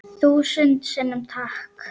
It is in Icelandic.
Þúsund sinnum takk.